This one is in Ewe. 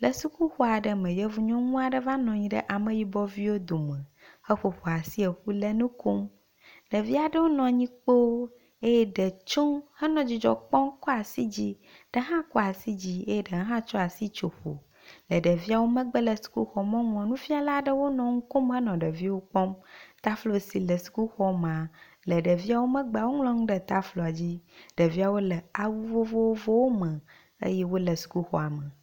le sukuxɔ aɖe me yevu nyɔnuɔ ɖe va nɔnyi ɖe ameyibɔ viwo dome he ƒoƒoasi ƒu le nu kom ɖeviaɖewo nɔnyi kpo eye ɖe tso henɔ dzidzɔkpɔm kɔasi dzi ɖe hã kɔasi dzi ye ɖe hã tso asi tso ƒo le ɖevio megbe le sukuxɔ mɔŋuɔ nufiala ɖewo nɔ ŋukom henɔ ɖevio kpɔm taflo si le sukuxɔ ma le ɖeviawo megbe woŋlɔ ŋu ɖe tafloa dzi ɖeviawo le awu vovovowo me eye wóle sukuxɔ me